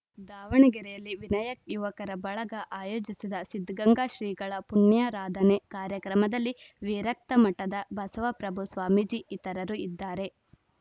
ದಾವಣಗೆರೆಯಲ್ಲಿ ವಿನಾಯಕ್ ಯುವಕರ ಬಳಗ ಆಯೋಜಿಸಿದ ಸಿದ್ಧಗಂಗಾ ಶ್ರೀಗಳ ಪುಣ್ಯಾರಾಧನೆ ಕಾರ್ಯಕ್ರಮದಲ್ಲಿ ವೀರಕ್ತಮಠದ ಬಸವಪ್ರಭು ಸ್ವಾಮೀಜಿ ಇತರರು ಇದ್ದಾರೆ